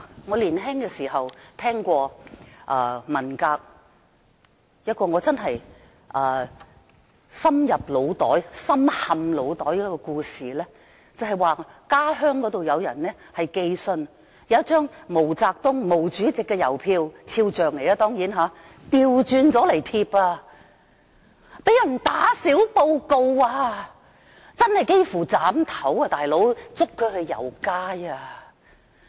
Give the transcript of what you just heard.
我年輕時聽過一個令我深陷腦袋的文革故事，話說某人的家鄉有人在寄信時，將一張印有毛主席毛澤東肖像的郵票倒轉來貼，竟然被人打小報告，真的差點被斬頭，被捉去遊街。